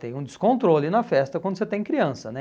Tem um descontrole na festa quando você tem criança, né?